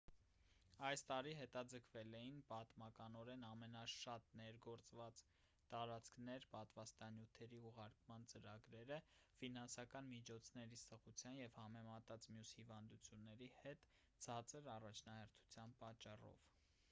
այս տարի հետաձգվել էին պատմականորեն ամենաշատ ներգործված տարածքներ պատվաստանյութերի ուղարկման ծրագրերը ֆինանսական միջոցների սղության և համեմատած մյուս հիվանդությունների հետ ցածր առաջնահերթության պատճառով